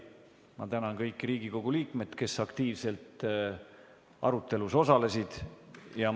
Ma tänan kõiki Riigikogu liikmeid, kes aktiivselt arutelus osalesid!